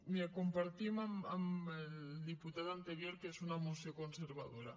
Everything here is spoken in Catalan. miri compartim amb el diputat anterior que és una moció conservadora